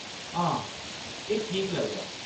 हां, एह्‌‌ ठीक लगदा ऐ।